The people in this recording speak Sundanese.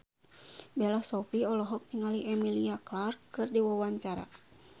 Bella Shofie olohok ningali Emilia Clarke keur diwawancara